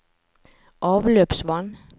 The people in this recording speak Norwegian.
avløpsvann